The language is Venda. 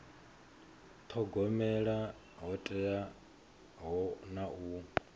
thogomela ho teaho na u